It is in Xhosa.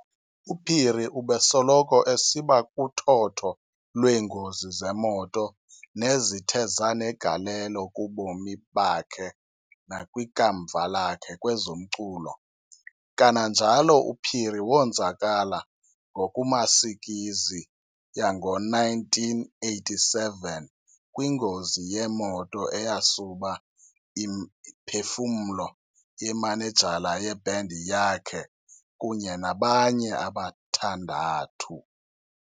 UPhiri ubesoloko esiba kuthotho lweengozi zemoto nezithe zanegalelo kubomi bakhe nakwikamva lakhe kwezomculo. Kananjalo uPhiri wonzakala ngokumasikizi yango1987 kwingozi yemoto eyasuba imiphefumlo yemanejala ye"band" yakhe kunye nabanye abathandathu.